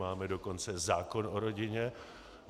Máme dokonce zákon o rodině.